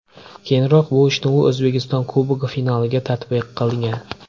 Keyinroq bu ishni u O‘zbekiston Kubogi finaliga tatbiq qilgan.